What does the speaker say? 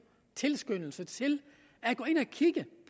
tilskyndelse til at gå ind og kigge